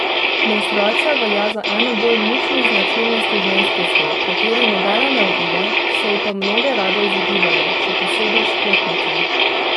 Menstruacija velja za eno bolj mučnih značilnosti ženskosti, kateri nobena ne uide, se ji pa mnoge rade izogibajo, še posebej športnice.